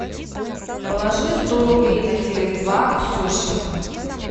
положи сто рублей на теле два ксюша